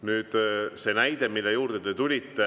Nüüd see näide, mille juurde te tulite.